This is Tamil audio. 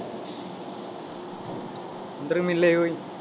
ஒன்றும் இல்லை ஓய்